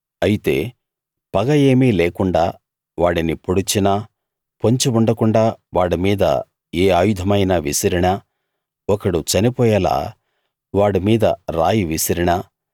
అయితే పగ ఏమీ లేకుండా వాడిని పొడిచినా పొంచి ఉండకుండాా వాడిమీద ఏ ఆయుధమైనా విసిరినా ఒకడు చనిపోయేలా వాడిమీద రాయి విసిరినా